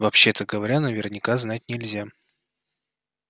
вообще-то говоря наверняка знать нельзя